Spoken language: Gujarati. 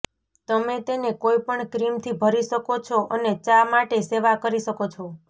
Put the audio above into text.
તમે તેને કોઈપણ ક્રીમથી ભરી શકો છો અને ચા માટે સેવા કરી શકો છો